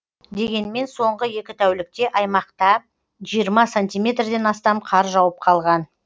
дегенмен соңғы екі тәулікте аймақта жиырма сантиметрден астам қар жауып қалған